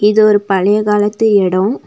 இது ஒரு பழைய காலத்து எடோ.